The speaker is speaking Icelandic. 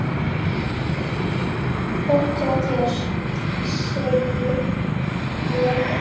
Gott hjá þér, segi ég.